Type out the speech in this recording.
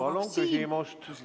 Palun küsimus!